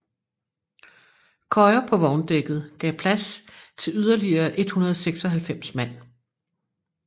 Køjer på vogndækket gav plads til yderligere 196 mand